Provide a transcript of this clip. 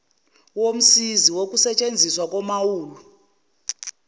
womsizi wokusetshenziswa komaulu